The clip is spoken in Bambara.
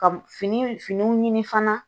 Ka fini finiw ɲini fana